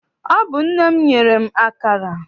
Ọ bụ nne m nyere m akara.